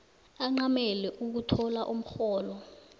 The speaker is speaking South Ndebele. ancamele ukuthola umrholo